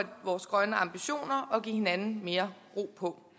vores grønne ambitioner og give hinanden mere ro på